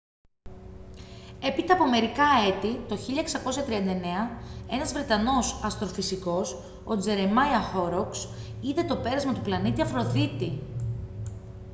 έπειτα από μερικά έτη το 1639 ένας βρετανός αστροφυσικός ο τζερεμάια χόροκς είδε το πέρασμα του πλανήτη αφροδίτη